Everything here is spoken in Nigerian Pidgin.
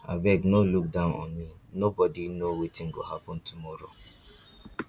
abeg no look down on me nobody know wetin go happen tomorrow